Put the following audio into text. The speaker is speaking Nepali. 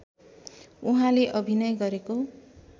उहाँले अभिनय गरेको